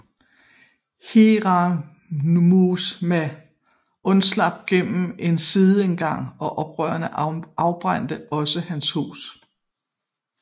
Hiranuma undslap gennem en sideindgang og oprørerne afbrændte også hans hus